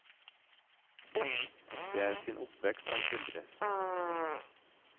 Det er sin oppvekst han skildrer.